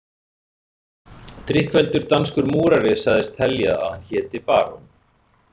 Drykkfelldur danskur múrari sagðist telja að hann héti barón